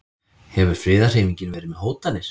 Hefur friðarhreyfingin verið með hótanir?